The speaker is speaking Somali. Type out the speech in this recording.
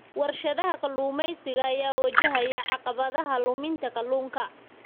Warshadaha kalluumeysiga ayaa wajahaya caqabadaha luminta kalluunka.